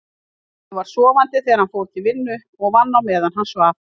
Ég var sofandi þegar hann fór til vinnu og vann á meðan hann svaf.